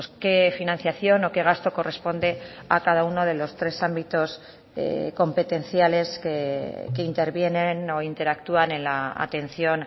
qué financiación o qué gasto corresponde a cada uno de los tres ámbitos competenciales que intervienen o interactúan en la atención